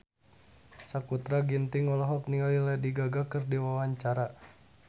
Sakutra Ginting olohok ningali Lady Gaga keur diwawancara